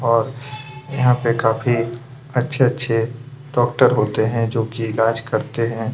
यहाँ पे काफी अच्छे-अच्छे डॉक्टर होते है जो कि इलाज करते है।